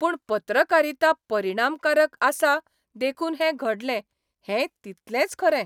पूण पत्रकारिता परिणामकारक आसा देखून हैं घडलें हेंय तितलेंच खरें.